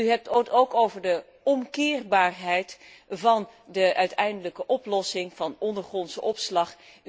U hebt het ook over de omkeerbaarheid van de uiteindelijke oplossing van ondergrondse opslag.